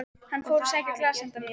Hann fór að sækja glas handa mér.